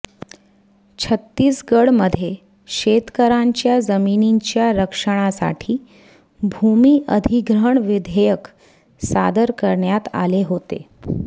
छत्तीसगडमध्ये शेतकऱयांच्या जमिनींच्या रक्षणासाठी भूमी अधिग्रहण विधेयक सादर करण्यात आले होते